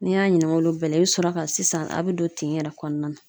N'i y'a ɲininka olu bɛɛ la , i bi sɔrɔ ka sisan a bi don tin yɛrɛ kɔnɔna na.